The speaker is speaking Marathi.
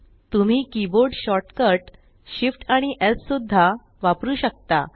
तुम्ही कीबोर्ड शॉर्टकट Shift आणि स् सुद्धा वापरु शकता